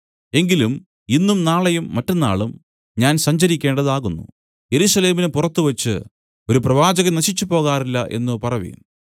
എങ്കിലും ഇന്നും നാളെയും മറ്റെന്നാളും ഞാൻ സഞ്ചരിക്കേണ്ടതാകുന്നു യെരൂശലേമിനു പുറത്തുവച്ച് ഒരു പ്രവാചകൻ നശിച്ചുപോകാറില്ല എന്നു പറവിൻ